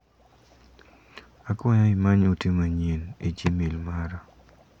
Akwayo imany ote manyien e gmail mara.